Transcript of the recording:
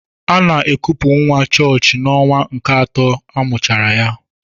Ana ekupu nwa chọọchị n'ọnwa nke atọ amụchara ya.